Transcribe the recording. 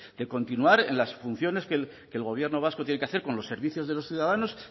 de continuar en las funciones que el gobierno vasco tiene que hacer con los servicios de los ciudadanos